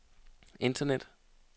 internet